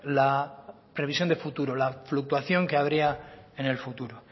la previsión de futuro la fluctuación que habría en el futuro